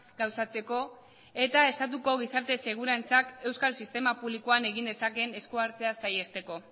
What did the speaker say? gauzatzeko eta estatuko gizarte segurantzak euskal sistema publikoan egin dezakeen esku hartzea saihesteko